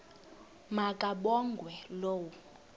ma kabongwe low